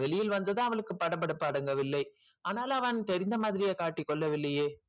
வெளியில் வந்ததும் அவளுக்கு படபடப்பு அடங்கவில்லை ஆனால் அவன் தெரிஞ்ச மாதிரியே காட்டிக் கொள்ளவில்லையே